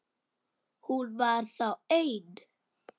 Hún var þá ein!